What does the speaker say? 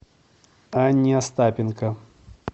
анне остапенко